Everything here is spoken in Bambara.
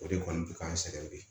O de kɔni bɛ k'an sɛgɛn bi